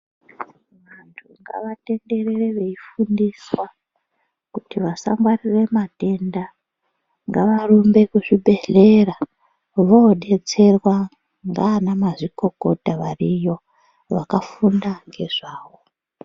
Ngavatenderere veifundiswa, kuti vasangwarire matenda. Ngavarumbe kuzvibhedhlera ,voodetserwa ngaanamazvikokota variyo, vakafunda ngezvawo.